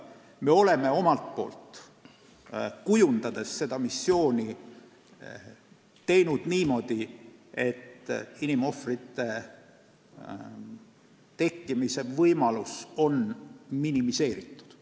Me oleme seda missiooni kujundades püüdnud teha niimoodi, et inimohvrite tekkimise võimalus on minimeeritud.